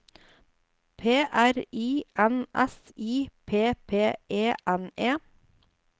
P R I N S I P P E N E